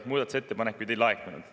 Muudatusettepanekuid ei laekunud.